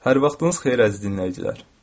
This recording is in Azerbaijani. Hər vaxtınız xeyir, əziz dinləyicilər.